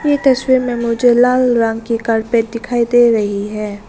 ये तस्वीर में मुझे लाल रंग की कारपेट दिखाई दे रही है।